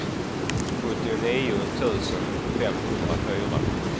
sjuttionio tusen femhundrafyra